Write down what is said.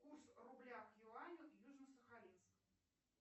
курс рубля к юаню южносахалинск